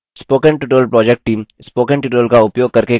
spoken tutorial project team: